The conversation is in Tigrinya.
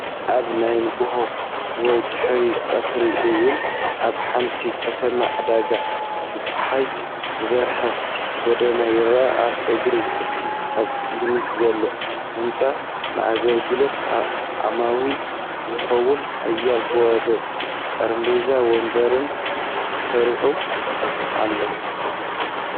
ኣብ ናይ ንግሆ ወይ ድሕሪ ቀትሪ እዋን፡ ኣብ ሓንቲ ከተማ ዕዳጋ ብጸሓይ ዝበርህ ጎደና ይረአ። ኣብ እግሪ እቲ ኣብ ቅድሚት ዘሎ ህንጻ፡ ንኣገልግሎት ዓማዊል ዝኸውን ሓያሎ ባዶ ጠረጴዛታትን መንበርን ተሰሪዑ ኣሎ።